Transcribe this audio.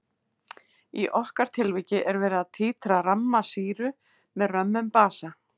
Í okkar tilviki er verið að títra ramma sýru með römmum basa.